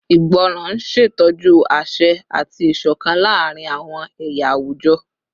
Ìgbọràn n ṣetọju aṣẹ ati isokan laarin awọn ẹya awujọ